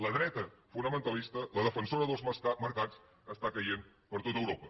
la dreta fonamentalista la defensora dels mercats està caient per tot europa